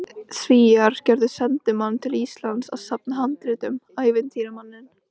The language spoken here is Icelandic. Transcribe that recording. Svíar gerðu sendimann til Íslands að safna handritum, ævintýramanninn